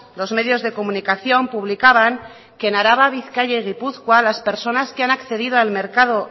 los medios de comunicación publicaban que en araba bizkaia y gipuzkoa las personas que han accedido al mercado